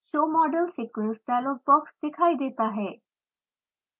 show model sequence dialog box दिखाई देता है